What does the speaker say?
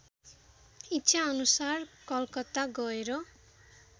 इच्छाअनुसार कलकत्ता गएर